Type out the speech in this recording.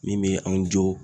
Min bɛ anw jɔ